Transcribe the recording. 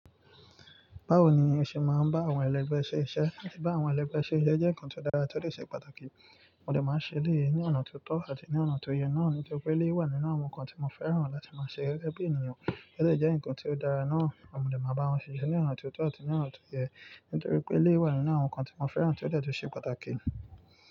Báwo ni o ṣe máa ń bá àwọn ẹlẹgbẹ́ ṣe iṣẹ́? Bá àwọn ẹlẹgbẹ́ ṣe je jẹ́ nǹkan tó dára tọ́dọ́ ṣe pàtàkì. Mo dè máa ṣe elèyi ní ọ̀nà tó tọ́ àti ní ọ̀nà tó yẹ. Nà án ní tóripé elé wà nínú àwọn nǹkan tí mo fẹ́ràn láti máa ṣe gẹ́gẹ́ bí ènìyàn. Elè jẹ́ ǹkan tí ó dára náà. Mo lè máa bá wọn ṣe iṣẹ́ ní ọ̀nà tó tọ́ àti ní ọ̀nà tó yẹ nítorí pé lé wà nínú àwọn nǹkan tí mo fẹ́ràn tí ó dára tó ṣe pàtàkì.